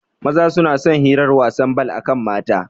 Maza suna son hirar wasan bal akan mata